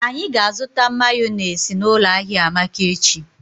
Anyi ga-azụta mayọnesị n'ụlọ ahia Amaka echi.